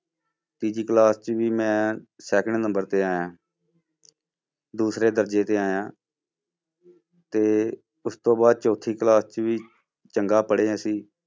ਤੀਜੀ class 'ਚ ਵੀ ਮੈਂ second number ਤੇ ਆਇਆਂ ਦੂਸਰੇ ਦਰਜੇ ਤੇ ਆਇਆਂ ਤੇ ਉਸ ਤੋਂ ਬਾਅਦ ਚੌਥੀ class 'ਚ ਵੀ ਚੰਗਾ ਪੜ੍ਹੇ ਅਸੀਂ।